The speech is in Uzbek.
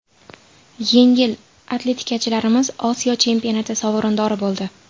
Yengil atletikachilarimiz Osiyo chempionati sovrindori bo‘ldi.